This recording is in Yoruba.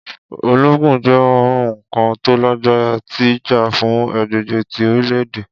Ologun jẹ oun kan to lagbara ti ja fun agbegbe ti orilẹ-ede.